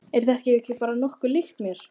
Er þetta ekki bara nokkuð líkt mér?